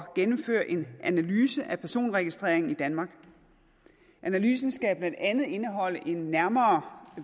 gennemføre en analyse af personregistreringen i danmark analysen skal blandt andet indeholde en nærmere